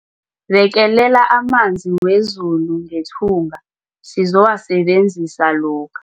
Bekelela amanzi wezulu ngethunga sizowasebenzisa lokha.